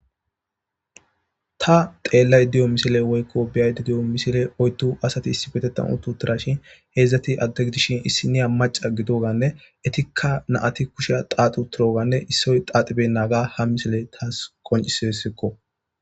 ta xeellay diyo misile woykko biyayde diyo misile oytu asati issi betetan uttu tirashin heedzdzati adde gidishin issiniya maca gido ganne etikka naati kushea xaaxi utiroganne issoy xaaxibe naaga ha misile taas qoncisesikko